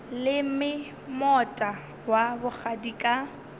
leme moota wa bogadi ka